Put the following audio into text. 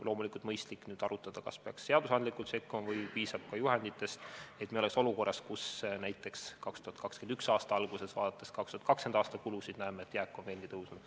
Loomulikult on mõistlik nüüd arutada, kas peaks seadusandlikult sekkuma või piisaks juhenditest, et me ei oleks olukorras, kus näiteks 2021. aasta alguses, vaadates 2020. aasta kulusid, näeksime, et jääk on veelgi suurenenud.